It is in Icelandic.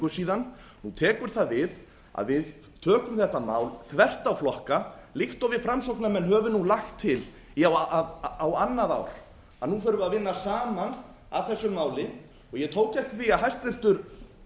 síðan nú tekur það við að við tökum þetta mál þvert á flokka líkt og við framsóknarmenn höfum nú lagt til í á annað ár að nú þurfum við að vinna saman að þessu máli ég tók eftir því að hæstvirtur